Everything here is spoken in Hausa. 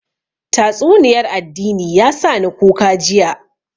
Tatsuniyar addini ya sa ni kuka jiya